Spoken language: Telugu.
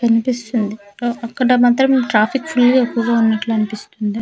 కన్పిస్తుంది అ అక్కడ మాత్రం ట్రాఫిక్ ఫుల్ గా ఎక్కువగా వున్నట్టనిపిస్తుంది .